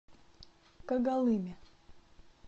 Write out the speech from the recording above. когалыме